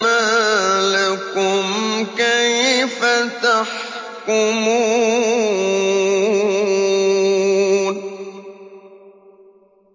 مَا لَكُمْ كَيْفَ تَحْكُمُونَ